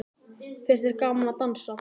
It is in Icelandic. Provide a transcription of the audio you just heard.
Finnst þér gaman að dansa?